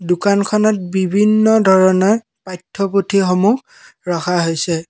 দোকানখনত বিভিন্ন ধৰণৰ পাঠ্য পুথিসমূহ ৰখা হৈছে।